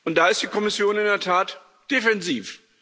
Da ist die Kommission in der Tat defensiv.